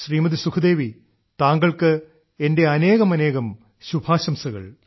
ശ്രീമതി സുഖ്ദേവി താങ്കൾക്ക് എന്റെ അനേകമനേകം ശുഭാശംസകൾ